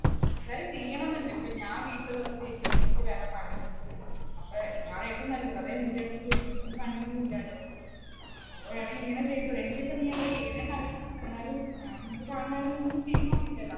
എന്തായാലും ചെയ്യണമെന്നുണ്ട്, ഇപ്പ ഞാൻ വീട്ടിൽ വെറുതെ ഇരിക്യല്ലേ എനിക്ക് വേറെ പണിയൊന്നുമില്ല. അപ്പ ഇതാണ് ഏറ്റവും നല്ലത്. അത് ഏറ്റടുത്തും ചോദിച്ചട്ടുണ്ട്, എനിക്കും പണിയൊന്നുമില്ലല്ലോ. അപ്പൊ വേണെങ്കിൽ ഇങ്ങനെ ചെയ്തൂടെ എനിക്കിപ്പോ നീ എന്താ ചെയ്യണേന്ന് അറിയില്ല എന്നാലും ഞാൻ